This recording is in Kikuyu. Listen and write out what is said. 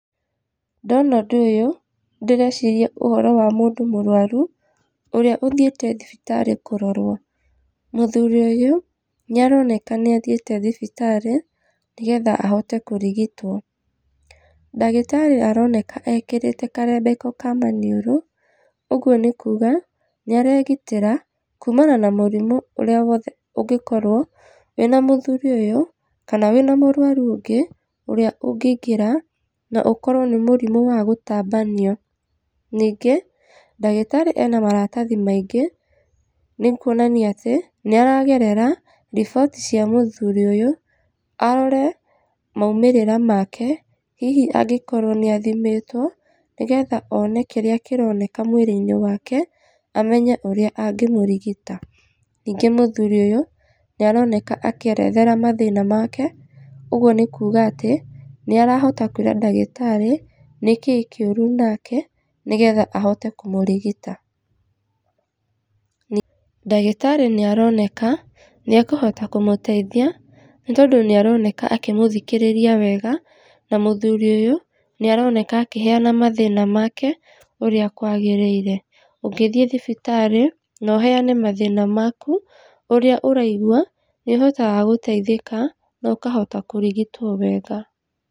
Ndona ũndũ ũyũ ndĩreciria ũhoro wa mũndũ mũrwaru ũrĩa ũthiĩte thibitarĩ kũrorwo. Mũthuri ũyũ nĩ aroneka nĩ athiĩte thibitari nĩ getha ahote kũrigitwo. Ndagĩtarĩ aroneka ekĩrĩte karembeko ka maniũrũ ũguo nĩ kuonania nĩ aregitĩra kumana na mũrimũ ũrĩa wothe ũngĩkorwo wĩna mũthuri ũyũ kana wĩna mũrwaru ũngĩ ũrĩa ũngĩingĩra na ũkorwo nĩ mũrimũ wa gũtambanio. Ningĩ ndagĩtarĩ ena maratathi maingĩ nĩ kuonania atĩ nĩ aragerera riboti cia mũthuri ũyũ arore maumĩrĩra make hihi angĩkorwo nĩ athimĩtwo. Nĩ getha one kĩrĩa kĩroneka mwĩri-inĩ wake amenye ũrĩa angĩmũrigita. Ningĩ mũthuri ũyũ nĩ aroneka akĩerethera mathĩna make ũguo nĩ kuga atĩ nĩ arahota kwĩra ndagĩtarĩ nĩkĩĩ kĩũru nake nĩ getha ahote kũmũrigita. Ndagĩtarĩ nĩ aroneka nĩ akũhota kũmũteithia nĩ tondũ nĩ aroneka akĩmũthikĩrĩria na mũthuri ũyũ nĩ aroneka akĩheana mathĩna make ũrĩa kwagĩrĩire. Ũngĩthiĩ thibitarĩ na ũheane mathĩna maku ũrĩa ũraigua nĩ ũhotaga gũteithĩka na ũkahota kũrigitwo wega.